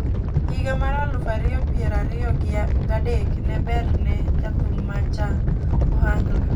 Higa mar aluf ariyo piero ariyo ga dek ne ber ne jathum ma ja Ohangla.